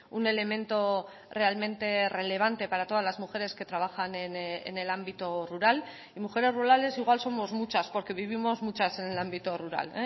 un elemento realmente relevante para todas las mujeres que trabajan en el ámbito rural y mujeres rurales igual somos muchas porque vivimos muchas en el ámbito rural